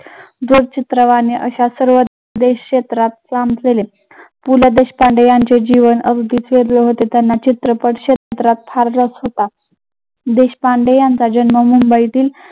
दूर चित्रवाणी अशा सर्व देश क्षेत्रात काम केले. पु ल देशपांडे यांचे जीवन अगदीच वेगळे होते, त्यांना चित्रकला क्षेत्रात फार रस होता. देशपांडे यांचा जन्म मुंबईतील